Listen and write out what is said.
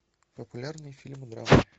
популярные фильмы